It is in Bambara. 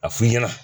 A f'i ɲɛna